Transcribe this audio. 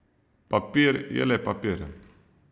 Papir je le papir.